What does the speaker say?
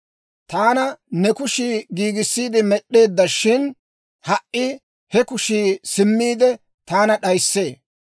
«Taana ne kushii giigissiide med'd'eedda; shin ha"i he kushii simmiide, taana d'ayissee.